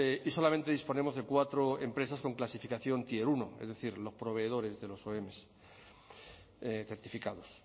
y solamente disponemos de cuatro empresas con clasificación tier uno es decir los proveedores de los om certificados